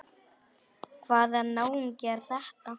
Hvaða náungi er þetta?